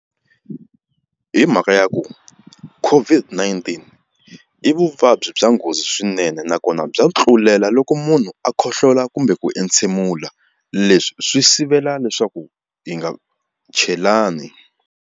Himhaka ya ku COVID-19 i vuvabyi bya nghozi swinene nakona bya tlulela loko munhu a khohlola kumbe ku entshemula leswi swi sivela leswaku hi nga chelani.